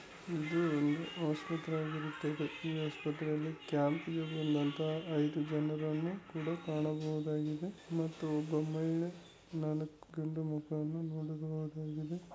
ಇದು ಒಂದು ಆಸ್ಪತ್ರೆಯಾಗಿರುತ್ತದೆ ಈ ಆಸ್ಪತ್ರೆಯಲ್ಲಿ ಕ್ಯಾಂಪಿಗೆ ಬಂದಂತಹ ಐದು ಜನರನ್ನು ಕೂಡ ಕಾಣಬಹುದಾಗಿದೆ ಮತ್ತು ಒಬ್ಬ ಮಹಿಳೆ ನಾಲ್ಕು ಗಂಡು ಮಕ್ಕಳನ್ನು ನೋಡಬಹುದಾಗಿದೆ.